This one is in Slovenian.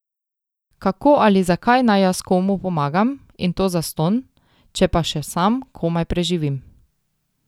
Kako ali zakaj naj jaz komu pomagam, in to zastonj, če pa še sam komaj preživim.